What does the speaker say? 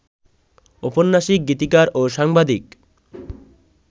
ঔপন্যাসিক, গীতিকার ও সাংবাদিক